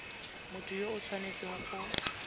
motho yo o tshwanetseng go